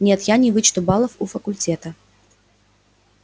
нет я не вычту баллов у факультета